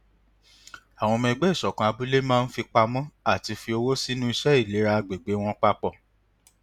àwọn ọmọ ẹgbẹ ìṣọkan abúlé máa ń fipamọ àti fi owó sínú iṣẹ ìlera agbègbè wọn papọ